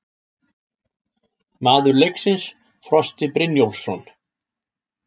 Maður leiksins: Frosti Brynjólfsson